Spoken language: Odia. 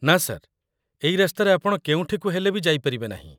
ନା, ସାର୍ । ଏଇ ରାସ୍ତାରେ ଆପଣ କେଉଁଠିକୁ ହେଲେ ବି ଯାଇପାରିବେ ନାହିଁ ।